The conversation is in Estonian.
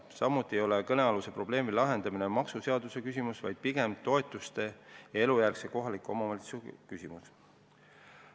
Samuti ei ole kõnealuse probleemi lahendamine maksuseaduse küsimus, vaid pigem toetuste ja elukohajärgse kohaliku omavalitsuse küsimus.